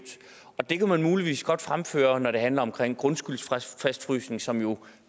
det kan man muligvis godt fremføre når det handler om grundskyldsfastfrysning som jo